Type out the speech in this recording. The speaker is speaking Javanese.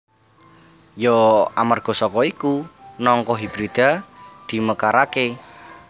Ya amarga saka iku nangka hibrida dimekaraké